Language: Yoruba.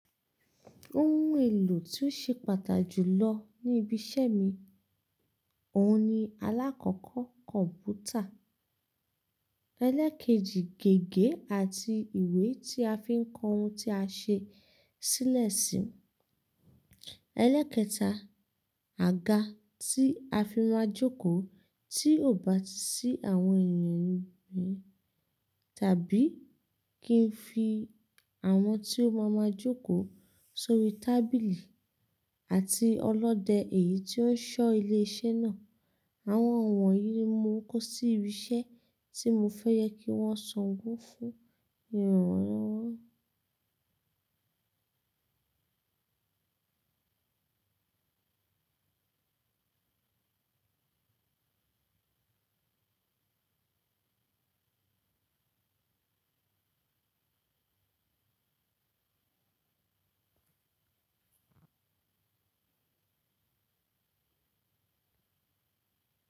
Ohun èlò tí ó ṣe pàtà jùlọ ní ibi iṣẹ́ mi, òun ni alákọ̀ọ́kọ́ kọ̀mpútà. Elékejì, gègé àti ìwé tí a fi ń kọ ohun tí a ṣe sílẹ̀ sí. Elékẹta, àga tí a fi máa jókòó tí ò bá sí àwọn ènìyàn mìíràn, tàbí kí n fi àwọn tí ó máa ma jókòó sórí tábìlì àti ọlọ́dẹ èyí tí ó ń ṣọ́ ilé iṣẹ́ náà. Àwọn wonyìí ni mo kó sí ibi iṣẹ́ tí mo fẹ́ yẹ kí wọ́n ṣàn gún fún ìrànwọ́